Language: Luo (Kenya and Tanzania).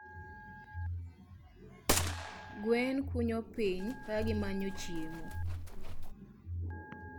Gwen kunyo piny ka gimanyo chiemo.